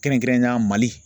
Kɛrɛnkɛrɛnnenya MALI.